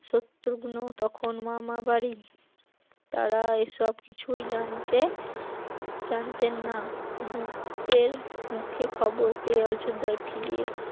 শত্রুঘ্ন তখন মামা বাড়ি, তারা এই সব কিছু জানতে জানতেন না দুতের মুখে খবর পেয়ে অযোধ্যায় ফিরে